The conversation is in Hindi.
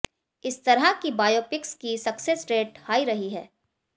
इस तरह की बायोपिक्स की सक्सेस रेट हाई रही है